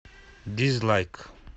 дизлайк